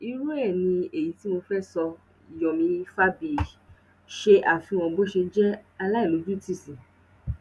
irú ẹ ni èyí tí mo fẹẹ sọ yìíyomi froyi ṣe àfihàn bó ṣe jẹ aláìlójútì sí